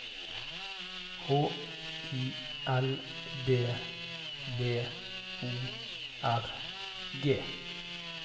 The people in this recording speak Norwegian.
H I L D B O R G